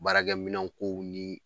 Baarakɛminɛn kow nii